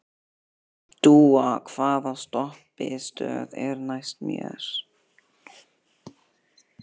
Dúa, hvaða stoppistöð er næst mér?